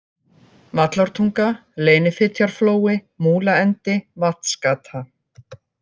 Vallártunga, Leynifitjarflói, Múlaendi, Vatnsgata